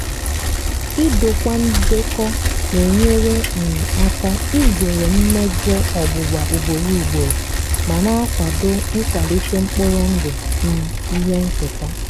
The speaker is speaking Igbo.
idokwa ndekọ na-enyere um aka izere mmejọ ọgbụgba ugboro ugboro ma na-akwado nkwalite mkpụrụ ndụ um ihe nketa.